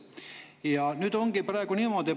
Ja nüüd ongi praegu niimoodi.